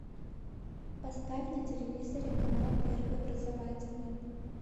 поставь на телевизоре канал первый образовательный